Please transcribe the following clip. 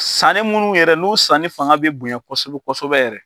Sanni minnu yɛrɛ n'u sanni fanga bɛ bonya kosɛbɛ kosɛ yɛrɛ.